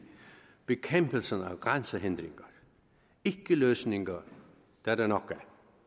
bekæmpelsen af grænsehindringer ikkeløsninger er der nok af